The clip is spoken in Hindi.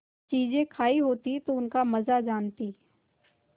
चीजें खायी होती तो उनका मजा जानतीं